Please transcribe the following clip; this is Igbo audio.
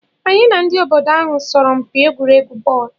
Anyị na ndị obodo ahụ sọrọ mpi egwuregwu bọọlu.